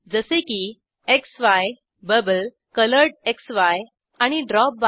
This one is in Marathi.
जसे की क्सी बबल कोलोरेडक्सी आणि ड्रॉपबार